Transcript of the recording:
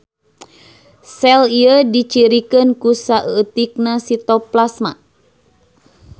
Sel ieu dicirikeun ku saeutikna sitoplasma.